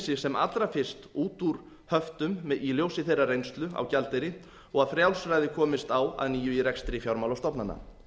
sig sem allra fyrst út úr höftum í ljósi þeirrar reynslu á gjaldeyri og að frjálsræði komist á að nýju í rekstri fjármálastofnana